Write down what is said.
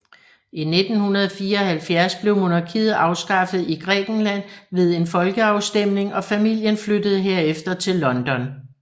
I 1974 blev monarkiet afskaffet i Grækenland ved en folkeafstemning og familien flyttede herefter til London